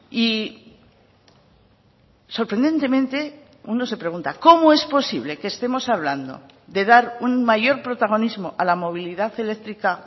y sorprendentemente uno se pregunta cómo es posible que estemos hablando de dar un mayor protagonismo a la movilidad eléctrica